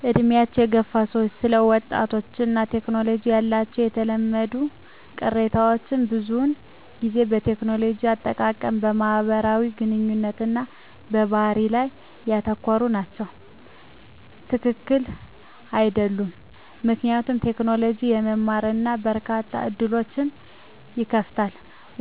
በዕድሜ የገፉ ሰዎች ስለ ወጣቶች እና ቴክኖሎጂ ያላቸው የተለመዱ ቅሬታዎች ብዙውን ጊዜ በቴክኖሎጂ አጠቃቀም፣ በማህበራዊ ግንኙነት እና በባህሪ ላይ ያተኮሩ ናቸው። # ትክክል አይደሉም ምክንያቱም: ቴክኖሎጂ ለመማር እና በርካታ ዕድሎችን ይከፍታል።